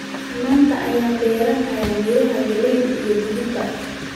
maanta ayaynu beeraynaa miraha galeyda iyo digirta